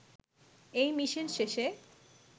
এই মিশন শেষে